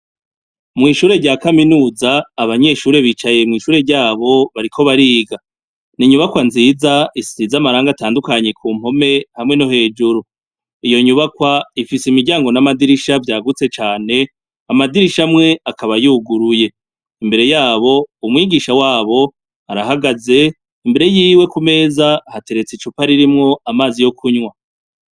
Mw' ishuri rya kaminuza, abanyeshure bicaye mw' ishure ryabo bariko bariga. Ni inyubakwa nziza, isize amarangi atandukanye ku mpome hamwe no hejuru. Iyo nyubakwa ifise imiryango n' amadirisha vyagutse cane, amadirisha amwe akaba yuguruye. Imbere yabo umwigisha wabo arahagaze, imbere yiwe ku meza hateretse icupa ririmwo amazi yo kunwa.